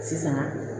Sisan